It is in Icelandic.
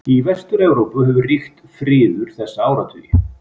Í Vestur-Evrópu hefur ríkt friður þessa áratugi.